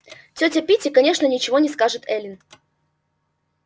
тётя питти конечно ничего не скажет эллин